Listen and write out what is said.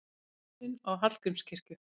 Og turninn á Hallgrímskirkju!